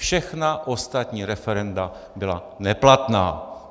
Všechna ostatní referenda byla neplatná.